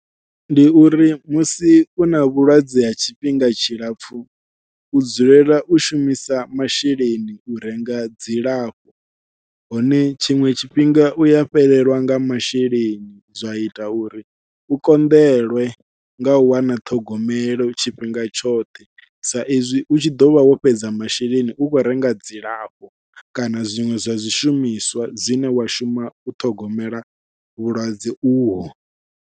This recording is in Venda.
Ndi uri musi u na vhulwadze ha tshifhinga tshilapfhu u dzulela u shumisa masheleni u renga dzilafho, hone tshiṅwe tshifhinga uya fhelelwa nga masheleni zwa ita uri u konḓelwe ngau wana ṱhogomelo tshifhinga tshoṱhe sa izwi u tshi ḓovha wo fhedza masheleni u khou renga dzilafho kana zwiṅwe zwa zwishumiswa zwine wa shuma u ṱhogomela vhulwadze uho.